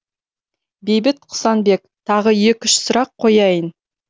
бейбіт құсанбек тағы екі үш сұрақ қояйын